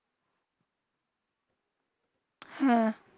হেঁ